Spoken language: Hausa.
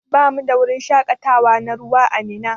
Bamu da wajen shakatawa na ruwa ã Minna.